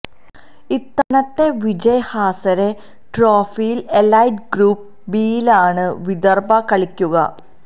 ഇത്തവണത്തെ വിജയ് ഹസാരെ ട്രോഫിയിൽ elite group ബിയിലാണ് വിദർഭ കളിക്കുക